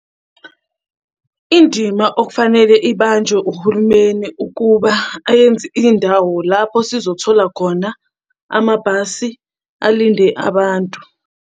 Indima okufanele ibanjwe uhulumeni ukuba ayenze indawo lapho sizothola khona amabhasi alinde abantu.